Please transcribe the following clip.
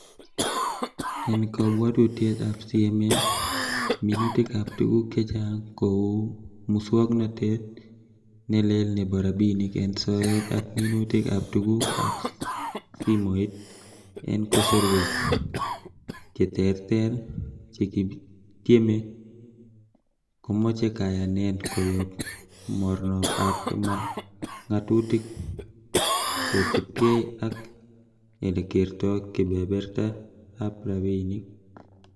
En kobwotutiet ab CMA, minutik ab tuguk chechang kou muswognotet ne leel nebo rabinik en soet ak minutik ab tuguk ab simoit en kasorwek che terter chekitieme, komoche kayanet koyob mornob ab ngatutik, kosiibge ak elekerto kebebertab rabinik.